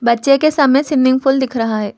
बच्चे के सामने स्विमिंग पूल दिख रहा है।